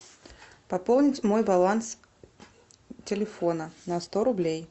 пополнить мой баланс телефона на сто рублей